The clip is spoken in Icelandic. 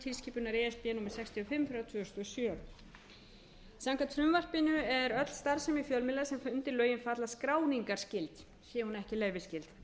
og fimm tvö þúsund og sjö samkvæmt frumvarpinu er öll starfsemi fjölmiðla sem undir lögin falla skráningarskyld sé hún ekki leyfisskyld